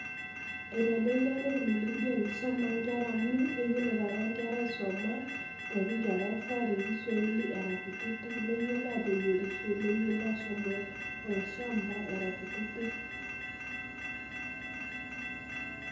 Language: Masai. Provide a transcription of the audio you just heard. Eitelelia teknolojia enkisoma onkera amu keyiolo taata nkera  aisoma te kingeresa te kiswaili era kutitik neyiolo ateyierisho neyioloashomo olshamba era kutitik.